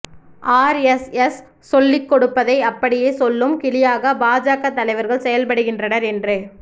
RSS சொல்லிக் கொடுப்பதை அப்படியே சொல்லும் கிளியாக பாஜக தலைவர்கள் செயல்படுகின்றனர் என்று